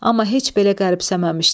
Amma heç belə qəribsəməmişdi.